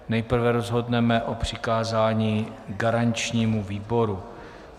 Nejprve rozhodneme o přikázání garančnímu výboru.